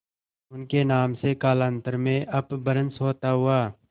उनके नाम से कालांतर में अपभ्रंश होता हुआ